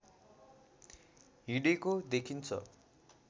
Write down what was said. हिँडेको देखिन्छ